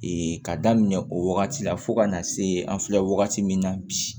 ka daminɛ o wagati la fo ka na se an filɛ wagati min na bi